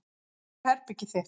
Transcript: En hér er herbergið þitt.